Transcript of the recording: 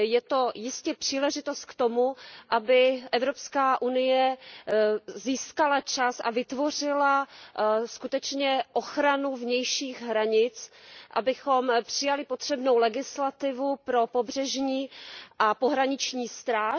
Je to jistě příležitost k tomu, aby Evropská unie získala čas a vytvořila skutečně ochranu vnějších hranic, abychom přijali potřebnou legislativu pro pobřežní a pohraniční stráž.